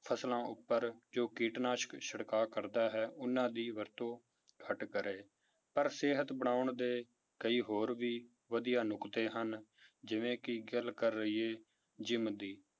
ਫਸਲਾਂ ਉੱਪਰ ਜੋ ਕੀਟਨਾਸ਼ਕ ਛਿੜਕਾਅ ਕਰਦਾ ਹੈ ਉਹਨਾਂ ਦੀ ਵਰਤੋਂ ਘੱਟ ਕਰੇ ਪਰ ਸਿਹਤ ਬਣਾਉਣ ਦੇ ਕਈ ਹੋਰ ਵੀ ਵਧੀਆ ਨੁੱਕਤੇ ਹਨ, ਜਿਵੇਂ ਕਿ ਗੱਲ ਕਰ ਲਈਏ gym ਦੀ